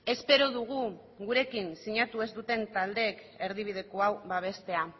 espero dugu gurekin sinatu ez duten taldeek erdibideko hau babestea